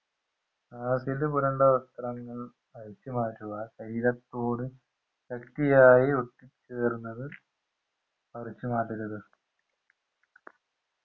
acid പുരണ്ടവസ്ത്രങ്ങൾ അഴിച്ചുമാറ്റുക ശരീരത്തോട് ശക്തിയായി ഒട്ടിച്ചേർന്നത് അഴിച്ചു മാറ്റരുത്